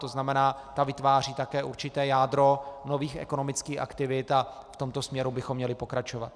To znamená, ta vytváří také určité jádro nových ekonomických aktivit a v tomto směru bychom měli pokračovat.